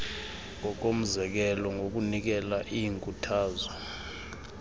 ngokomzekelo ngokunikela iinkuthazo